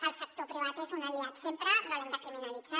el sector privat és un aliat sempre no l’hem de criminalitzar